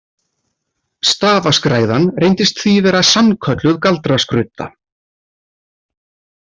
Stafaskræðan reyndist því vera sannkölluð galdraskrudda.